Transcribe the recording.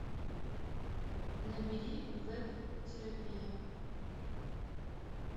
набери веб терапия